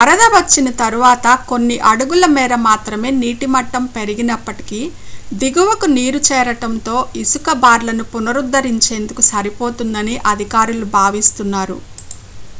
వరద వచ్చిన తర్వాత కొన్ని అడుగుల మేర మాత్రమే నీటిమట్టం పెరిగినప్పటికీ దిగువకు నీరు చేరడంతో ఇసుక బార్లను పునరుద్ధరించేందుకు సరిపోతుందని అధికారులు భావిస్తున్నారు